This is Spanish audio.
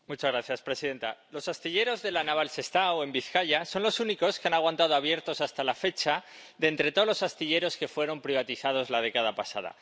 Señora presidenta, los astilleros de La Naval Sestao, en Vizcaya, son los únicos que han aguantado abiertos hasta la fecha de entre todos los astilleros que fueron privatizados la década pasada.